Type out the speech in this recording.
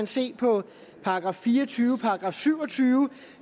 se på § fire og tyve og § syv og tyve